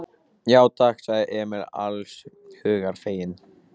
Já, takk, sagði Emil alls hugar feginn.